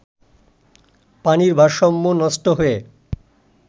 পানির ভারসাম্য নষ্ট হয়ে